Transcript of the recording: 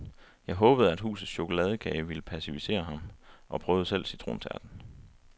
Jeg håbede, at husets chokoladekage ville passivisere ham, og prøvede selv citrontærten.